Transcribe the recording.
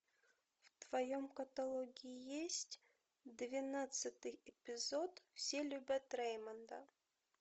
в твоем каталоге есть двенадцатый эпизод все любят реймонда